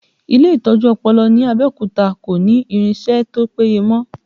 Ile itọju ọpọlọ ní Abẹ́òkúta kò ní irinsẹ́ tó péye mọ